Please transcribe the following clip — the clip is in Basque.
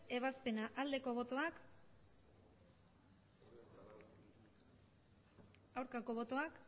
ebazpena aldeko botoak aurkako botoak